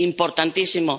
Importantísimo.